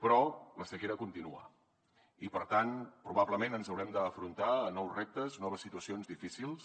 però la sequera continua i per tant probablement ens haurem d’enfrontar a nous reptes noves situacions difícils